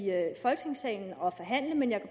folketingssalen og forhandle jeg